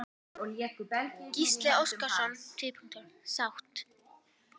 Gísli Óskarsson: Sátt?